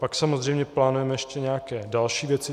Pak samozřejmě plánujeme ještě nějaké další věci.